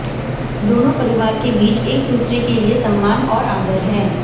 दोनों परिवार के बीच एक दूसरे के लिए सम्मान और आदर है